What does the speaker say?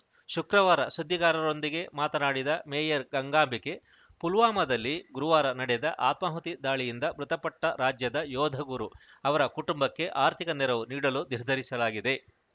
ಶುಕ್ರವಾರ ಸುದ್ದಿಗಾರರೊಂದಿಗೆ ಮಾತನಾಡಿದ ಮೇಯರ್‌ ಗಂಗಾಂಬಿಕೆ ಪುಲ್ವಾಮಾದಲ್ಲಿ ಗುರುವಾರ ನಡೆದ ಆತ್ಮಾಹುತಿ ದಾಳಿಯಿಂದ ಮೃತಪಟ್ಟರಾಜ್ಯದ ಯೋಧ ಗುರು ಅವರ ಕುಟುಂಬಕ್ಕೆ ಆರ್ಥಿಕ ನೆರವು ನೀಡಲು ನಿರ್ಧರಿಸಲಾಗಿದೆ